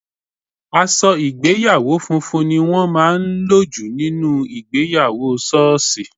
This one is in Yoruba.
Aṣọ ìgbéyàwó funfun ni wọ́n máa ń lò jù nínú ìgbéyàwó sọọsi.